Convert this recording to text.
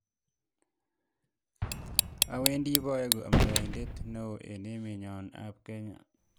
Awendi paeku amndaeindet neo eng emet nyon ab Kenya